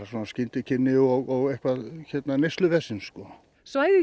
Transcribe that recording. skyndikynni og neysluvesen sko svæðið